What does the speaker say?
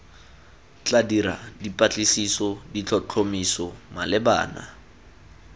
tla dira dipatlisiso ditlhotlhomiso malebana